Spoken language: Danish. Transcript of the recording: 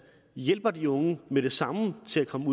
hjælper de unge med det samme til at komme